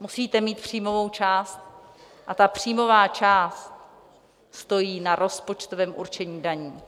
musíte mít příjmovou část, a ta příjmová část stojí na rozpočtovém určení daní.